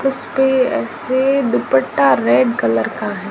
उसपे ऐसे दुपट्टा रेड कलर का है।